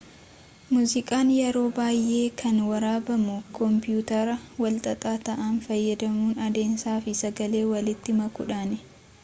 muziqaan yeroo baay'ee kan waraabamuu koompiyuutara walxaxaa ta'an fayadamuun adeemsaa fi sagalee walitti makuudhaani